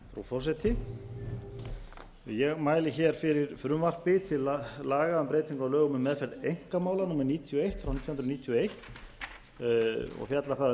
forseti ég mæli hér fyrir frumvarpi til laga um breytingu á lögum um meðferð einkamála númer níutíu og eitt nítján hundruð níutíu og eins og fjallar það um